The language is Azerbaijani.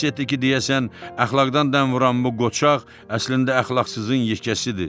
Hiss etdi ki, deyəsən əxlaqdan dəm vuran bu qoçaq əslində əxlaqsızın yekəsidir.